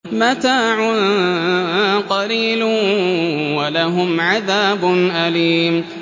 مَتَاعٌ قَلِيلٌ وَلَهُمْ عَذَابٌ أَلِيمٌ